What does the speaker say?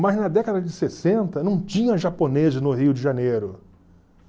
Mas na década de sessenta, não tinha japoneses no Rio de Janeiro.